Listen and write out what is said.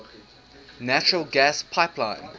natural gas pipeline